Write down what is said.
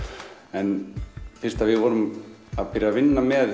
en fyrst að við vorum að byrja með